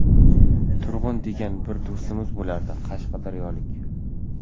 Turg‘un degan bir do‘stimiz bo‘lardi, qashqadaryolik.